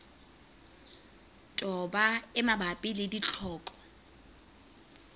toba e mabapi le ditlhoko